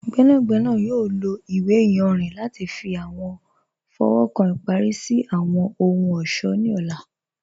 Gbẹnagbẹna yọ̀ lọ iwe ìyànrin lati fi awọn fọwọ́kan ipari si awọn ohun-ọṣọ ni ọ̀là.